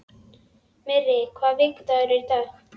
Myrra, hvaða vikudagur er í dag?